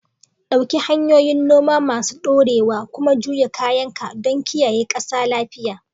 Ɗauki hanyoyin noma masu ɗorewa kuma juya kayanka don kiyaye ƙasa lafiya.